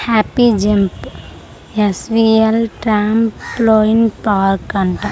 Happy jump S V L trampoline park అంట .]